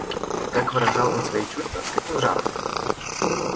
как выражал он свои чувства с каким жаром